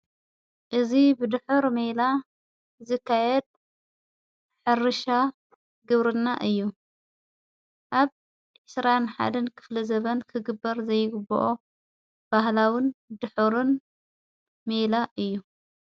እዝ ብድኅር መላ ዝካየድ ሕርሻ ግብርና እዩ ኣብ ዕሥራን ሓደን ክፍለ ዘበን ክግበር ዘይግብኦ ባህላዉን ድኅርን ሜይላ እዩ።